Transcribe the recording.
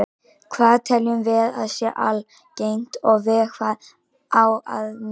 Hvað teljum við að sé algengt og við hvað á að miða?